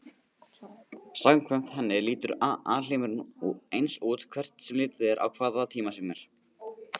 Samkvæmt henni lítur alheimurinn eins út hvert sem litið er á hvaða tíma sem er.